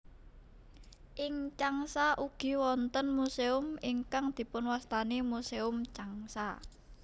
Ing Changsha ugi wonten muséum ingkang dipunwastani Museum Changsha